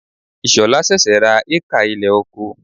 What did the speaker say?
Ishola sẹ̀sẹ̀ ra hékà ilẹ̀ oko.